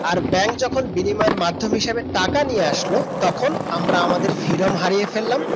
আর bank যখন বিনিময়ের মাধ্যম হিসেবে টাকা নিয়ে আসলো তখন আমরা আমাদের freedom হারিয়ে ফেললাম